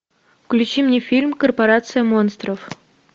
включи мне фильм корпорация монстров